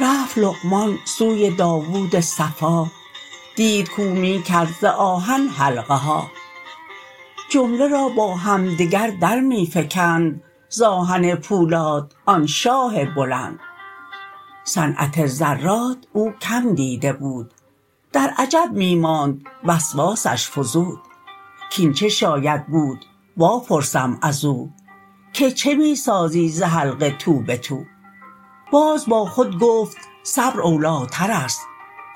رفت لقمان سوی داود صفا دید کو می کرد ز آهن حلقه ها جمله را با همدگر در می فکند ز آهن پولاد آن شاه بلند صنعت زراد او کم دیده بود درعجب می ماند وسواسش فزود کین چه شاید بود وا پرسم ازو که چه می سازی ز حلقه تو بتو باز با خود گفت صبر اولیترست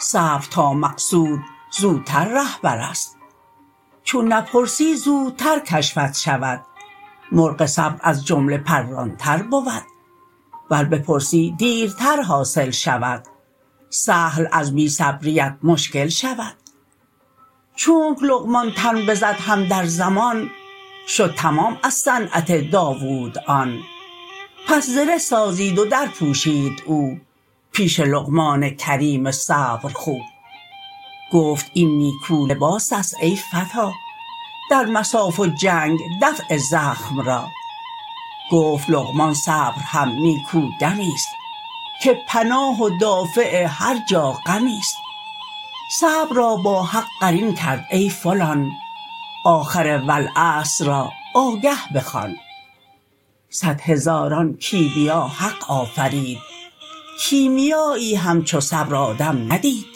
صبر تا مقصود زوتر رهبرست چون نپرسی زودتر کشفت شود مرغ صبر از جمله پران تر بود ور بپرسی دیرتر حاصل شود سهل از بی صبریت مشکل شود چونک لقمان تن بزد هم در زمان شد تمام از صنعت داود آن پس زره سازید و در پوشید او پیش لقمان کریم صبرخو گفت این نیکو لباسست ای فتی در مصاف و جنگ دفع زخم را گفت لقمان صبر هم نیکو دمیست که پناه و دافع هر جا غمیست صبر را با حق قرین کرد ای فلان آخر والعصر را آگه بخوان صد هزاران کیمیا حق آفرید کیمیایی همچو صبر آدم ندید